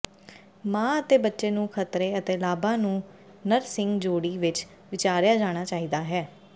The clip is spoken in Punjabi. ਮਾਂ ਅਤੇ ਬੱਚੇ ਨੂੰ ਖਤਰੇ ਅਤੇ ਲਾਭਾਂ ਨੂੰ ਨਰਸਿੰਗ ਜੋੜੀ ਵਿਚ ਵਿਚਾਰਿਆ ਜਾਣਾ ਚਾਹੀਦਾ ਹੈ